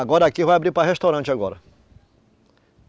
Agora aqui vai abrir para restaurante agora.